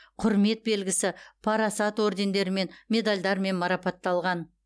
құрмет белгісі парасат ордендерімен медальдармен марапатталған